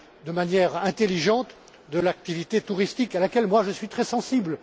de manière intelligente, de l'activité touristique à laquelle je suis très sensible.